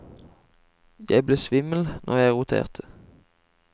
Jeg ble svimmel når jeg roterte.